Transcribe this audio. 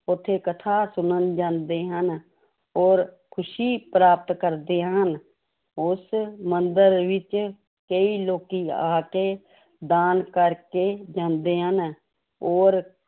ਉੱਥੇ ਕਥਾ ਸੁਣਨ ਜਾਂਦੇ ਹਨ, ਔਰ ਖ਼ੁਸ਼ੀ ਪ੍ਰਾਪਤ ਕਰਦੇ ਹਨ, ਉਸ ਮੰਦਿਰ ਵਿੱਚ ਕਈ ਲੋਕੀ ਆ ਕੇ ਦਾਨ ਕਰਕੇ ਜਾਂਦੇ ਹਨ, ਔਰ